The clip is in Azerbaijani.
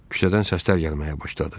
Küçədən səslər gəlməyə başladı.